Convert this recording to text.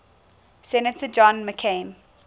senator john mccain